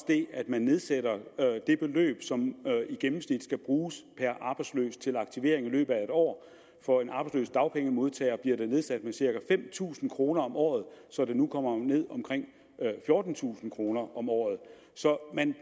det at man nedsætter det beløb som i gennemsnit skal bruges per arbejdsløs til aktivering i løbet af et år for en arbejdsløs dagpengemodtager bliver det nedsat med cirka fem tusind kroner om året så det nu kommer ned på omkring fjortentusind kroner om året så man